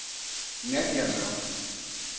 Nadja Mørk